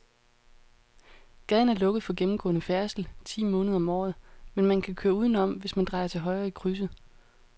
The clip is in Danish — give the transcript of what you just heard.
Gaden er lukket for gennemgående færdsel ti måneder om året, men man kan køre udenom, hvis man drejer til højre i krydset.